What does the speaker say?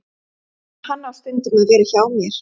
En hann á stundum að vera hjá mér.